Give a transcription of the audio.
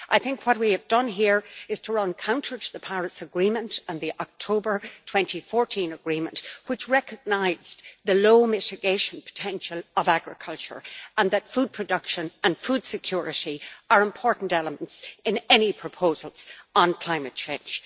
I think what we have done here is to run counter to the Paris Agreement and the October 2014 Agreement, which recognised the low mitigation potential of agriculture and that food production and food security are important elements in any proposal on climate change.